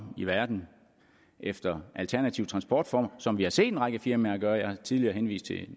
i verden efter alternative transportformer som vi har set en række firmaer gøre jeg har tidligere henvist til